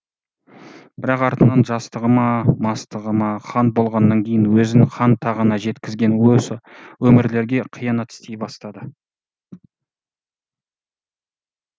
бірақ артынан жастығы ма мастығы ма хан болғаннан кейін өзін хан тағына жеткізген осы өмірлерге қиянат істей бастады